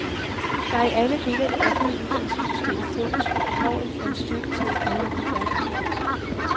Der er i alle dele af det offentlige uddannelsessystem fokus på behovet for en styrkelse af de grundlæggende færdigheder.